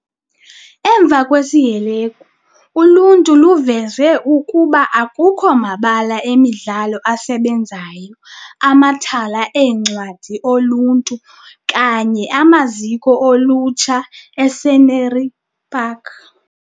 Emva kwesi sihelegu, uluntu luveze ukuba akukho mabala emidlalo asebenzayo, amathala eencwadi oluntu okanye amaziko olutsha e-Scenery Park.